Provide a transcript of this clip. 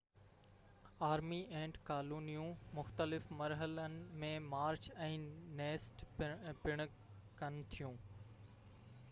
army اينٽ ڪالونيون مختلف مرحلن ۾ مارچ ۽ نيسٽ پڻ ڪن ٿيون